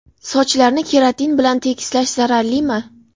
Sochlarni keratin bilan tekislash zararlimi?.